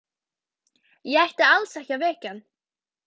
Ég ætti alls ekki að vekja hann.